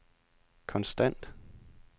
konstant